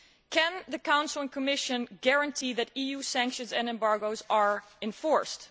Can the Council and Commission guarantee that EU sanctions and embargos are enforced?